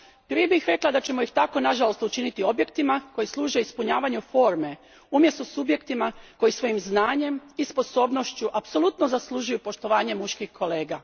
Prije bih rekla da ćemo ih tako, nažalost, učiniti objektima koji služe ispunjavanju forme umjesto subjektima koji svojim znanjem i sposobnošću apsolutno zaslužuju poštovanje muških kolega.